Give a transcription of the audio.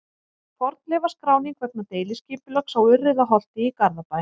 Fornleifaskráning vegna deiliskipulags á Urriðaholti í Garðabæ.